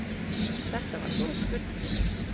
Þetta var góð spurning.